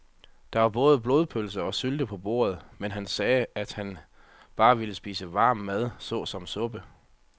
Der var både blodpølse og sylte på bordet, men han sagde, at han bare ville spise varm mad såsom suppe.